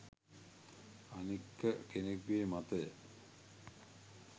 අනික කෙනෙකුගේ මතය